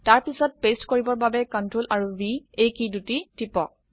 তাৰপিছত পেস্ট কৰিবৰ বাবে Ctrl আৰু V এই কী দুটি টিপক